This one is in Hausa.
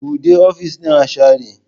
Buɗe ofis ɗin a share